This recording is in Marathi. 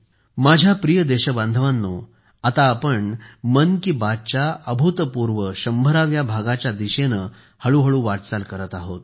माझ्या प्रिय देशबांधवांनो आता आपण मन की बात च्या अभूतपूर्व 100 व्या भागाच्या दिशेने हळूहळू वाटचाल करत आहोत